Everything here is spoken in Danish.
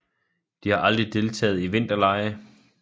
De har aldrig deltaget i vinterlege